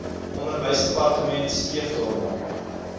onderwysdepartement streef daarna